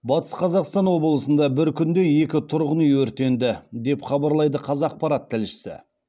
батыс қазақстан облысында бір күнде екі тұрғын үй өртенді деп хабарлайды қазақпарат тілшісі